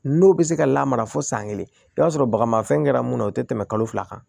N'o bɛ se ka lamara fo san kelen i b'a sɔrɔ bagamafɛn kɛra munna o tɛ tɛmɛ kalo fila kan